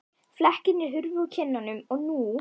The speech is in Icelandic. Flekkirnir hurfu úr kinnunum og nú